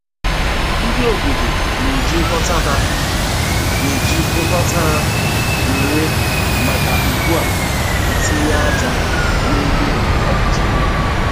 Ndị obodo na-eji nghọta ha na-eji nghọta ha nwere maka ugbo etinye aja n'ebe o kwesiri.